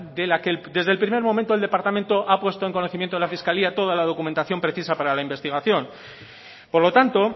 de la que desde el primer momento el departamento ha puesto en conocimiento de la fiscalía toda la documentación precisa para la investigación por lo tanto